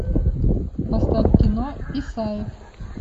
поставь кино исаев